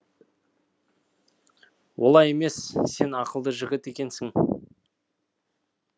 олай емес сен ақылды жігіт екенсің